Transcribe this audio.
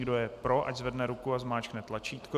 Kdo je pro, ať zvedne ruku a zmáčkne tlačítko.